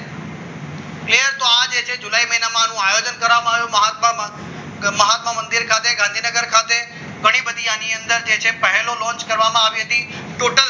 જે તો આ છે જુલાઈ મહિનામાં આનું આયોજન કરવામાં આવ્યું પરમાત્મા મંદિર ખાતે ગાંધીનગર ખાતે ઘણી બધી આની અંદર છે પહેલો launch કરવામાં આવી હતી ટોટલ